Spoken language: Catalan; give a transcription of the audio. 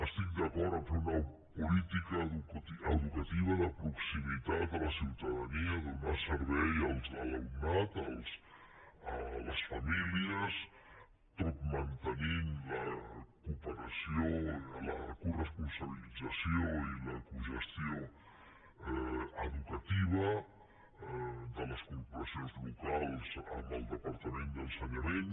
estic d’acord a fer una política educativa de proximitat a la ciutadania de donar servei a l’alumnat a les famílies tot mantenint la cooperació la coresponsabilització i la cogestió educativa de les corporacions locals amb el departament d’ensenyament